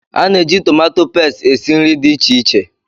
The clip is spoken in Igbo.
A na-eji tọmatọ pastị esi nri dị iche iche.